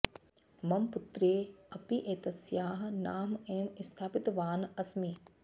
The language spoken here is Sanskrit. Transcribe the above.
मम पुत्र्यै अपि एतस्याः नाम एव स्थापितवान् अस्मि